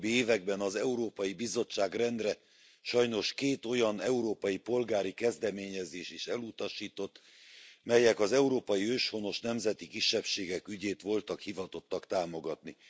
Az utóbbi években az Európai Bizottság rendre, sajnos két olyan európai polgári kezdeményezést is elutasított, melyek az európai őshonos nemzeti kisebbségek ügyét voltak hivatottak támogatni.